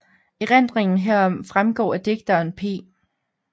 Erindringen herom fremgår af digteren P